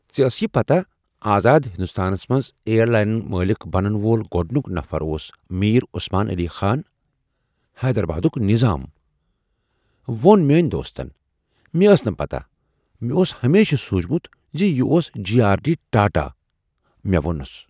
"ژےٚ ٲسیِہ پتا آزاد ہندوستانس منٛز ایئر لائنک مٲلک بنن وول گۄڈنیک نفر اوس میر عثمان علی خان، حیدرآبادک نظام؟" وۄن میٲنۍ دوستن۔" مےٚ ٲس نہٕ پتا ۔ مےٚ اوس ہمیشہٕ سوٗنٛچمت ز یہ اوس جے۔ آر۔ ڈی۔ ٹاٹا "،مےٚ وۄنُس۔